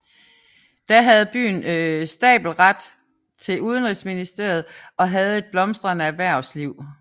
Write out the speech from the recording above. Da havde byen stabelret til udenrigshandel og havde et blomstrende erhvervsliv